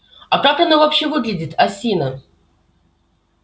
а как она вообще выглядит осина